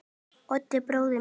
Oddi bróður mínum.